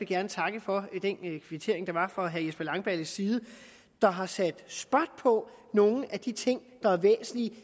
gerne takke for den kvittering der var fra herre jesper langballes side der har sat spot på nogle af de ting der er væsentlige